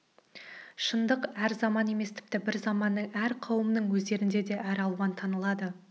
шындық әр заман емес тіпті бір заманның әр қауымның өздеріңде де әр алуан танылады